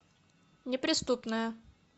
неприступная